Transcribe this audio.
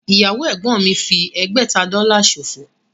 Ìyàwó ẹ̀gbọ́n mi fi ẹgbẹ̀ta Dọ́là ṣòfò